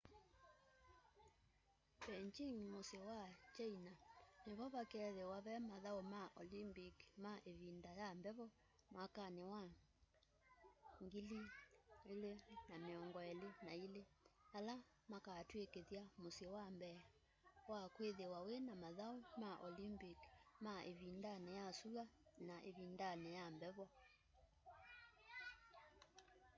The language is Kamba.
beijĩng mũsyĩ wa china nĩ vo vakethĩwa ve mathaũ ma olympik ma ĩvĩnda ya mbevo mwakanĩ wa 2022 ala makaũtwĩkĩtha mũsyĩ wa mbee wa kwĩthĩwa wĩna mathaũ ma olympik ma ĩvĩndanĩ ya sũa n ĩvindanĩ ya mbevo